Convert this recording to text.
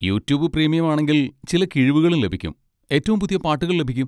YouTube premium ആണെങ്കിൽ ചില കിഴിവുകളും ലഭിക്കും, ഏറ്റവും പുതിയ പാട്ടുകൾ ലഭിക്കും.